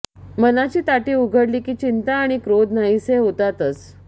मनाची ताटी उघडली की चिंता आणि क्रोध नाहीसे होतातच